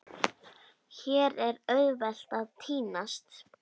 Hér er auðvelt að týnast.